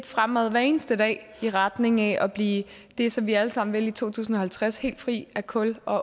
fremad hver eneste dag i retning af at blive det som vi alle sammen vil i to tusind og halvtreds helt fri af kul